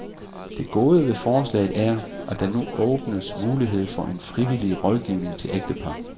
Det gode ved forslaget er, at der nu åbnes mulighed for en frivillig rådgivning til ægtepar.